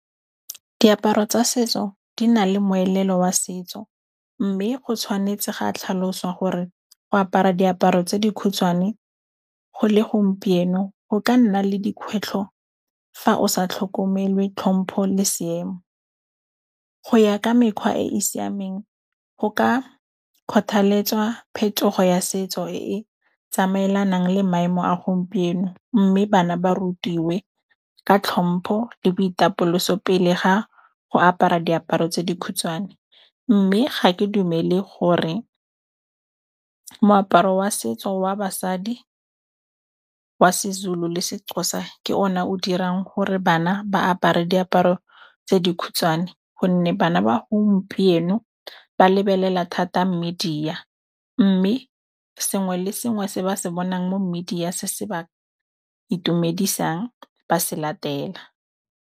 Diaparo tsa setso di na le moelelo wa setso. Mme go tshwanetse ga tlhaloswa gore go apara diaparo tse dikhutshwane, go le gompieno go ka nna le dikgwetlho fa o sa tlhokomele tlhompho le seemo. Go ya ka mekgwa e e siameng go ka kgothaletwsa phetogo ya setso e tsamaelanang le maemo a gompieno mme bana ba rutiwe ka tlhompho le boitapoloso pele ga go apara diaparo tse dikhutshwane. Mme ga ke dumele gore moaparo wa setso wa basadi wa Sezulu Sexhosa ke o ne o dirang gore bana ba apare diaparo tse dikhutshwane, gonne bana ba gompieno ba lebelela thata mmediya mme sengwe le sengwe se ba se bonang mo mmediya se se ba itumedisang ba se latela.